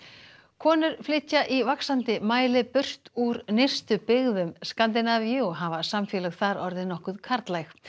konur flytja í vaxandi mæli burt úr nyrstu byggðum Skandinavíu og hafa samfélög þar orðið nokkuð karllæg